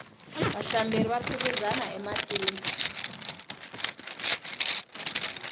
vahlamberi va phikizana ematini